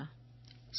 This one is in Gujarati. my A R E A